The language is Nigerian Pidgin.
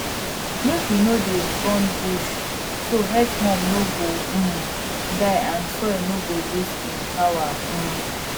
make we no dey burn bush so earthworm no go um die and soil no go lose im power um